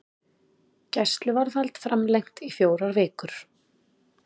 Gæsluvarðhald framlengt í fjórar vikur